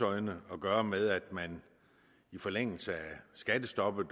øjne at gøre med at man i forlængelse af skattestoppet og